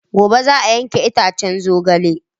Gobe za a yanke itacen zogalen.